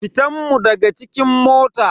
Fitan mun daga cikin mota.